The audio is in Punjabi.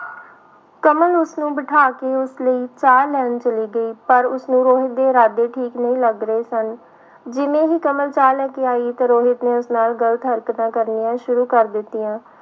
ਕਮਲ ਉਸਨੂੰ ਬਿਠਾ ਕੇ ਉਸ ਲਈ ਚਾਹ ਲੈਣ ਚਲੀ ਗਈ, ਪਰ ਉਸਨੂੰ ਰੋਹਿਤ ਦੇ ਇਰਾਦੇ ਠੀਕ ਨਹੀਂ ਲੱਗ ਰਹੇ ਸਨ, ਜਿਵੇਂ ਹੀ ਕਮਲ ਚਾਹ ਲੈ ਕੇ ਆਈ ਤਾਂ ਰੋਹਿਤ ਨੇ ਉਸ ਨਾਲ ਗ਼ਲਤ ਹਰਕਤਾਂ ਕਰਨੀਆਂ ਸ਼ੁਰੂ ਕਰ ਦਿੱਤੀਆਂ।